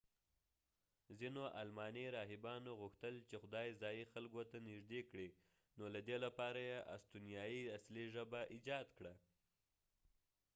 ځینو آلماني راهبانو غوښتل چې خدای ځایي خلکو ته نژدې کړي نو له دې لپاره یې استونیایي اصلي ژبه ایجاد کړه